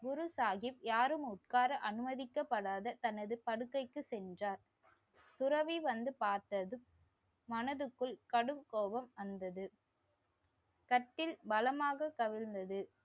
குரு சாகிப் யாரும் உட்கார அனுமதிக்கப்படாத தனது படுக்கைக்கு சென்றார். துறவி வந்து பார்த்ததும் மனதுக்குள் கடும் கோபம் வந்தது. கட்டில் பலமாக கவிழ்ந்தது